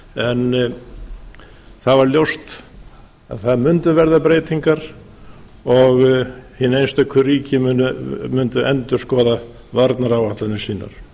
en það var ljóst að það mundu verða breytingar og hin einstöku ríki mundu endurskoða varnaráætlanir sínar